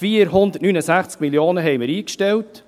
Im Voranschlag stellten wir 469 Mio. Franken ein.